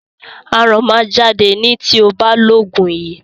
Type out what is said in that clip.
Aràn máa jáde ni tí o bá lo òògùn yìí.